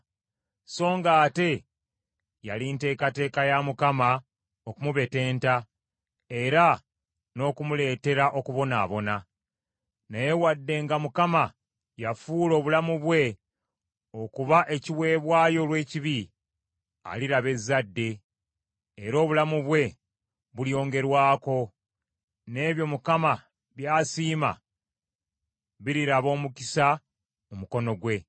Songa ate yali nteekateeka ya Mukama okumubetenta, era n’okumuleetera okubonaabona. Naye wadde nga Mukama yafuula obulamu bwe, okuba ekiweebwayo olw’ekibi, aliraba ezzadde, era obulamu bwe bulyongerwako, n’ebyo Mukama by’asiima biriraba omukisa mu mukono gwe.